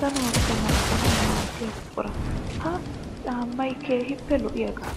danuwappe naaganawu maadiya buqura. Ha caamay keehippe lo'iyaaga.